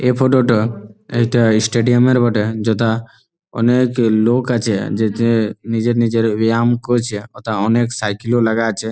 এই ফটো -টো । একটা স্টেডিয়াম -এর বটে যথা অনেক লোক আছে যে যে নিজের নিজের ব্যায়াম করছে । অথা অনেক সাইকেল ও লাগা আছে।